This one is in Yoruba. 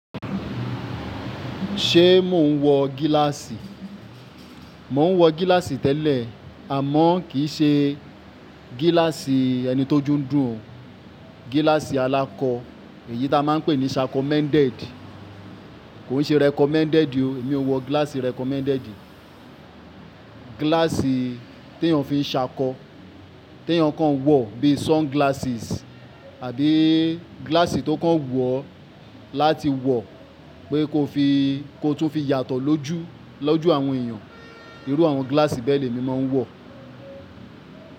Ṣé mò ń wọ gíláàsì? Mò ń wọ gíláàsì tẹ́lẹ̀ àmọ́ kì í ṣe gíláàsì ẹni tó oju n dùn o. Gíláàsì alakọ̀ èyí ta máa ń pè ní sha commended, kò n ṣe recommended o, èmi ò wọ gíláàsì recommended. Gíláàsì tí èèyàn fi ń ṣàkọ, tí èèyàn kan wọ̀ bí i sunglasses àbi gíláàsì tó kàn wu o láti wọ̀ pé kó tun fi yàtọ̀ lójú, lójú àwọn èèyàn. Irú àwọn gíláàsì bẹ́ẹ̀ ni èmi máa ń wọ̀